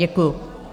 Děkuji.